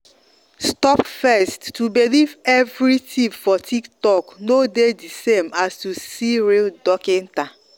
stop first- to believe every tip for titok no dey the same as to see real dockita